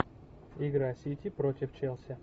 игра сити против челси